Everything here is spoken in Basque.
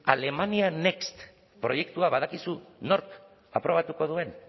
alemania next proiektua badakizu nork aprobatuko duen